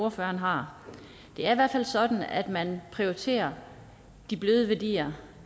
ordføreren har det er i hvert fald sådan at man prioriterer de bløde værdier